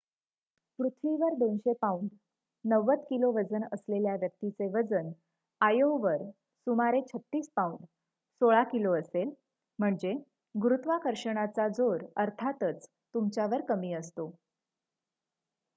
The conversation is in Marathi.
पृथ्वीवर २०० पाउंड ९० किलो वजन असलेल्या व्यक्तीचे वजन आयओवर सुमारे ३६ पाउंड १६ किलो असेल. म्हणजे गुरुत्वाकर्षणाचा जोर अर्थातच तुमच्यावर कमी असतो